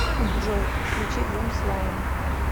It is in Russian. джой включи зум слайм